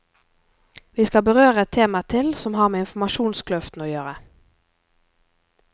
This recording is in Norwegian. Vi skal berøre et tema til, som har med informasjonskløften å gjøre.